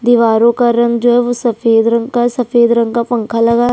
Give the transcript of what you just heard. दीवारों का रंग जो हैं वो सफेद रंग का है सफेद रंग का पंखा लगा है --